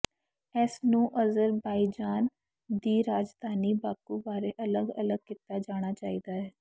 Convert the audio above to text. ਇਸ ਨੂੰ ਅਜ਼ਰਬਾਈਜਾਨ ਦੀ ਰਾਜਧਾਨੀ ਬਾਕੂ ਬਾਰੇ ਅਲਗ ਅਲਗ ਕੀਤਾ ਜਾਣਾ ਚਾਹੀਦਾ ਹੈ